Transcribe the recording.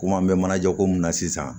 Komi an bɛ manajako mun na sisan